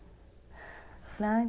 Eu falei, ai...